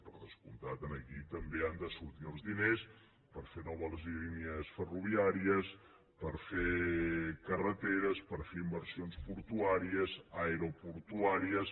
per descomptat d’aquí també han de sortir els diners per fer noves línies ferroviàries per fer carreteres per fer inversions portuàries aeroportuàries